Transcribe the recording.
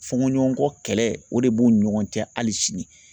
Fɔɲɔgɔnkɔ kɛlɛ o de b'u ni ɲɔgɔn cɛ hali sini